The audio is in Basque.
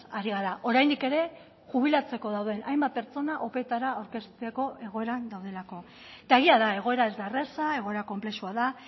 ari gara oraindik ere jubilatzeko dauden hainbat pertsona opetara aurkezteko egoeran daudelako eta egia da egoera ez da erraza egoera konplexua da